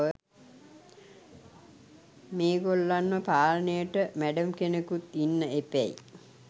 මෙගොල්ලන්ව පාලනයට මැඩම් කෙනෙකුත් ඉන්න එපැයි.